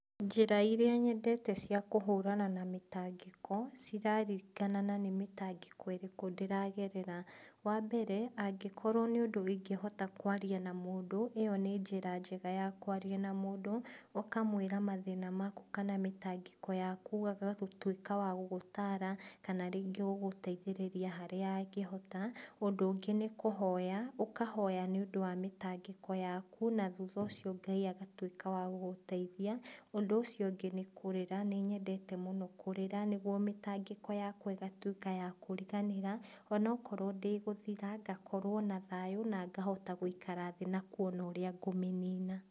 Njĩra iria nyendete cia kũhũrana na mĩtangĩko, ciraringana na nĩmĩtangĩko ĩrĩkũ ndĩragerera. Wambere, angĩkorwo nĩ ũndũ ingĩhota kwaria na mũndũ, ĩyo nĩ njĩra njega ya kwaria na mũndũ, ũkamwĩra mathĩna maku kana mĩtangĩko yaku, agatuĩka wa gũgũtara, kana rĩngĩ gũgũteithĩrĩria harĩa angĩhota, ũndũ ũngĩ nĩkũhoya, ũkahoya nĩũndũ wa mĩtangĩko yaku, na thutha ũcio Ngai agatuĩka wa gũgũteithia, ũndũ ũcio ũngĩ nĩ kũrĩra, nĩnyendete mũno kũrĩra, nĩguo mĩtangĩko yakwa ĩgatuĩka ya kũriganĩra, onokorwo ndĩgũthĩra, ngakorwo na thayũ nangahota gũikara thĩ nakuona ũrĩa ngũmĩnĩna.